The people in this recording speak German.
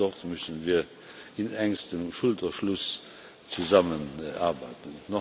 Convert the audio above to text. Auch dort müssen wir in engstem Schulterschluss zusammenarbeiten.